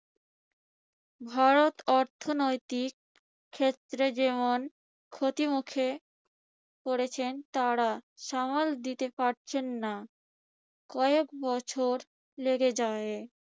ভারত অর্থনৈতিক ক্ষেত্রে যেমন ক্ষতির মুখে পরেছেন, তারা সামাল দিতে পারছেন না। কয়েক বছর লেগে যাবে।